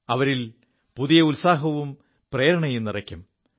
അവരിൽ ഒരു പുതിയ ഉത്സാഹവും പ്രേരണയും നിറയ്ക്കും